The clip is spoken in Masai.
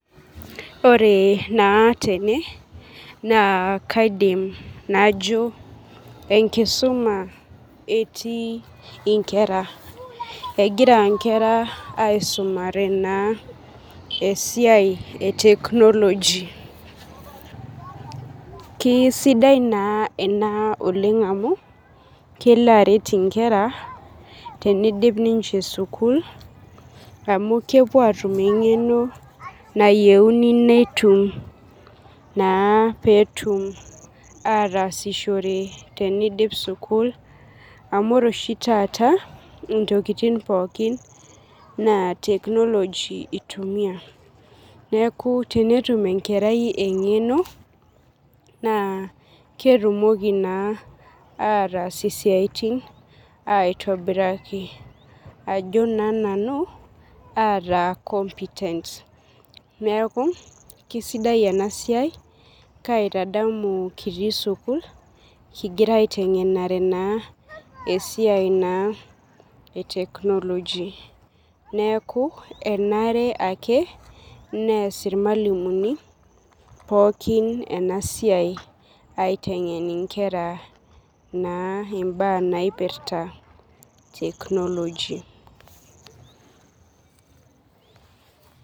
Ore na tene na kaidim najo enkisumabetii nkera egira nkera aisumare esiaia e technology na kesidai ena oleng amu kelo aret nkera tenidip ninche sukul amu kepuo atum engeno nayieuni netum teniidip sukul amu ore taata ntokitin pookin na technology itumiai neaku tenetum enkerai engeno na ketumoki na atas siiaitin aitobiraki ajo na nanu ataa compitent neaku kesidai enasiai kaitadamu atii sukul kingira aitadamu esiai e technology neaku enare ake neas irmalimulini pookin enasia aitengen nkera mbaa naipirta technology.